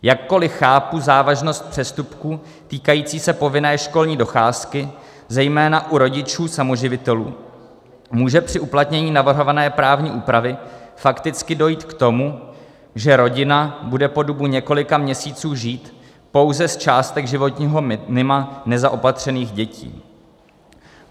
Jakkoliv chápu závažnost přestupku týkajícího se povinné školní docházky, zejména u rodičů samoživitelů, může při uplatnění navrhované právní úpravy fakticky dojít k tomu, že rodina bude po dobu několika měsíců žít pouze z částek životního minima nezaopatřených dětí.